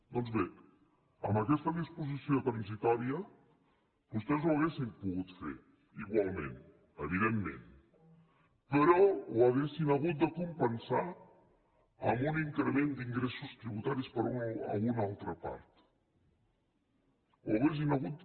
doncs bé amb aquesta disposició transitòria vostès ho haurien pogut fer igualment evidentment però ho haurien hagut de compensar amb un increment d’ingressos tributaris per alguna altra part ho haurien hagut